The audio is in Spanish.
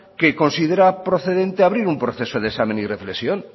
que considera procedente abrir un proceso de examen y reflexión